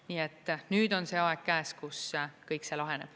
Nii et nüüd on see aeg käes, kus kõik see laheneb.